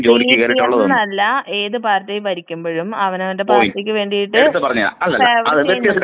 CPM അല്ല ഏത് പാർട്ടീം ഭരിക്കുമ്പഴും അവനവന്റെ പാർട്ടിക്ക് വേണ്ടിട്ട് ഫേവര്‍ ചെയ്യുന്നുണ്ട്.